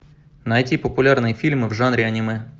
найти популярные фильмы в жанре аниме